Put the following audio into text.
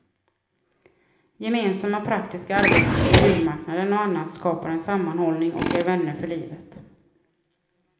Gemensamma praktiska arbeten som julmarknaden och annat skapar en sammanhållning och ger vänner för livet.